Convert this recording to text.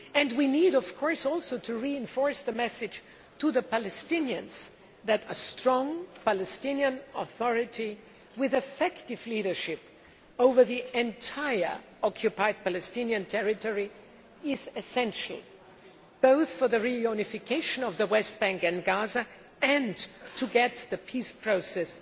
We also need to reinforce the message to the Palestinians that a strong Palestinian Authority with effective leadership over the entire occupied Palestinian territory is essential both for the reunification of the West Bank and Gaza and to get the peace process